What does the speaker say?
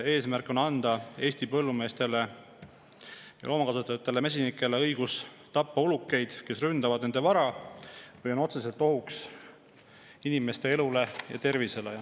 Eesmärk on anda Eesti põllumeestele, loomakasvatajatele ja mesinikele õigus tappa ulukeid, kes ründavad nende vara või on otseselt ohuks inimeste elule ja tervisele.